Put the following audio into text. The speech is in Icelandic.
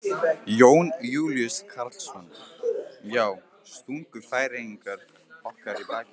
Jón Júlíus Karlsson: Já, stungu Færeyingar okkur í bakið?